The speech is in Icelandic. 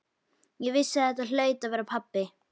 Ég vissi að þetta hlaut að vera pabbi.